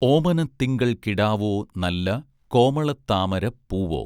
ഓമന തിങ്കൾ കിടാവോ നല്ല കോമള താമര പൂവോ